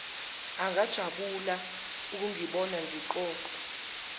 angajabula ukungibona ngigoqe